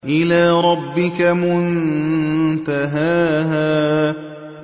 إِلَىٰ رَبِّكَ مُنتَهَاهَا